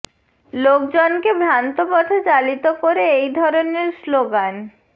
লোকজনকে ভ্রান্ত পথে চালিত করে এই ধরনের স্লোগান